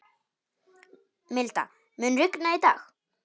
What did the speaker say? Milda, mun rigna í dag?